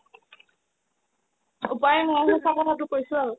উপাই নাই সচা কথাটো কৈছো আৰু